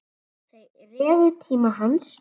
Þeir réðu tíma hans.